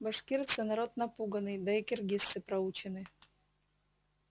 башкирцы народ напуганный да и киргизцы проучены